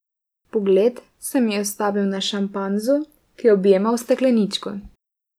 Pogled se mi je ustavil na šimpanzu, ki je objemal stekleničko.